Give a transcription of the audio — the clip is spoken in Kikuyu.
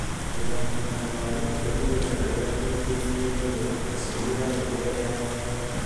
Mbere ya kũhanda waru, thĩria gĩthaka gĩaku ihinda-inĩ rĩa riũa, ta ciumia 6 mbere ya kũhanda.